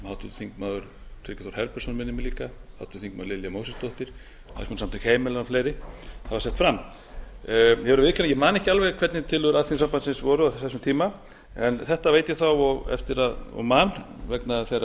þingmaður tryggvi þór herbertsson minnir mig líka háttvirtir þingmenn lilja mósesdóttir hagsmunasamtök heimilanna og fleiri hafa sett fram ég verð að viðurkenna að ég man ekki alveg hvernig tillögur alþýðusambandsins voru á þessum tíma en þetta veit ég þó og man vegna þeirra